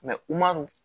u man non